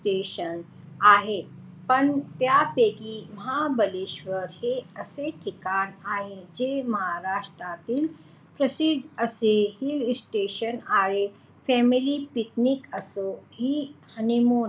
पण त्यापैकी महाबळेश्वर हे असे ठिकाण आहे जे महाराष्ट्रातील प्रसिद्ध अस हिल स्टेशन आहे family picnic असो कि हनिमून.